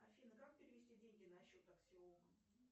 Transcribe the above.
афина как перевести деньги на счет аксиомы